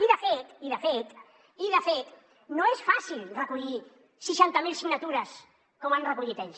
i de fet i de fet no és fàcil recollir seixanta mil signatures com han recollit ells